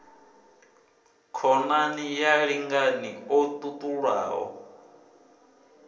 khonani ya lingani o ṱuṱulaho